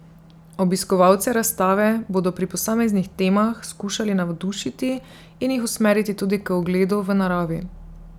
Obiskovalce razstave bodo pri posameznih temah skušali navdušiti in jih usmeriti tudi k ogledu v naravi.